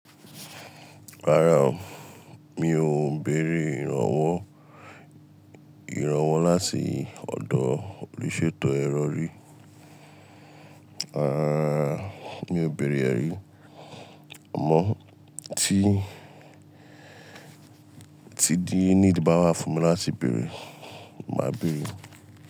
Rárá o, mi ò bẹ̀reẹ̀ ìrànwọ́. Ìrànwọ́ látii ọ̀dọ̀ olùṣètò ẹrọ rí. Rárá, mi ò bẹ̀rẹ̀ rẹ̀ rí. Àmọ́ tí, tí díì need bá wà fún mi láti bẹ̀rẹ̀, màá bẹ̀rẹ̀